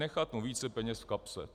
Nechat mu více peněz v kapse.